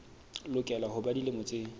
lokela ho ba dilemo tse